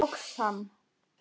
Loks hann!